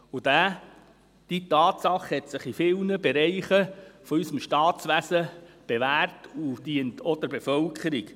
Und diese Tatsache hat sich in vielen Bereichen unseres Staatswesens bewährt und dient auch der Bevölkerung.